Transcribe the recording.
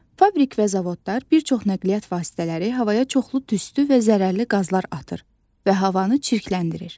Fabrik və zavodlar, bir çox nəqliyyat vasitələri havaya çoxlu tüstü və zərərli qazlar atır və havanı çirkləndirir.